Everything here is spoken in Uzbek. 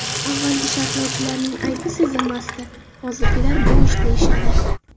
Avvalgi sharhlovchilarning aybi sezilmasdi, hozirgilar bo‘sh, deyishadi.